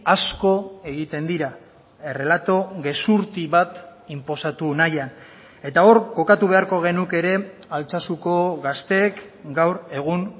asko egiten dira errelato gezurti bat inposatu nahian eta hor kokatu beharko genuke ere altsasuko gazteek gaur egun